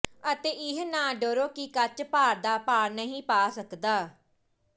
ਅਤੇ ਇਹ ਨਾ ਡਰੋ ਕਿ ਕੱਚ ਭਾਰ ਦਾ ਭਾਰ ਨਹੀਂ ਪਾ ਸਕਦਾ